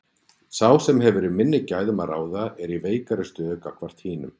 Sá sem hefur yfir minni gæðum að ráða er í veikari stöðu gagnvart hinum.